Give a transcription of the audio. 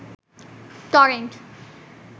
torrent